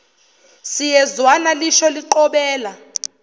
siyezwana lisho liqobela